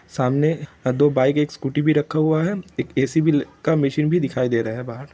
सामने दो बाइक एक स्कूटी भी रखा हुआ है एक ए.सी. का मशीन भी दिखाई दे रहा है बाहर।